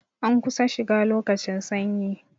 An kusan shiga lokacin sanyi